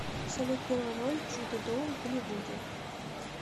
салют первая роль джуда доу в голливуде